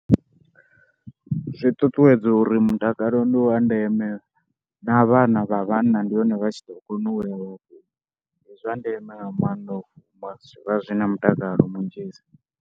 Zwi ṱuṱuwedza uri mutakalo ndi wa ndeme na vhana vha vhanna ndi hone vha tshi ḓo kona u ya. Ndi zwa ndeme nga maanḓa u fumba, zwi vha zwi na mutakalo munzhi sa.